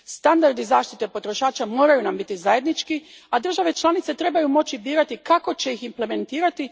Standardi zaštite potrošača moraju nam biti zajednički, a države članice trebaju moći birati kako će ih implementirati.